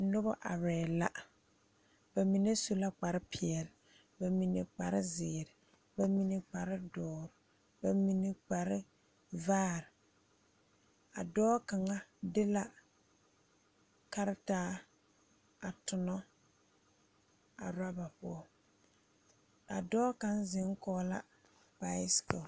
Nobɔ arɛɛ la ba mine su la kparepeɛle ba mine kparezeere ba mine kparedoɔre ba mine kparevaare a dɔɔ kaŋa de la karitaa a tonɔ a rɔba poɔ a dɔɔ kaŋ zeŋ kɔg la bicycle.